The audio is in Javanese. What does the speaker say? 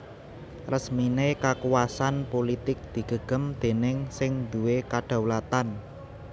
Resminé kakuwasan pulitik digegem déning sing duwé kadhaulatan